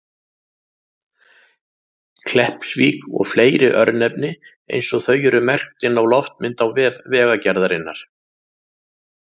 Kleppsvík og fleiri örnefni eins og þau eru merkt inn á loftmynd á vef Vegagerðarinnar.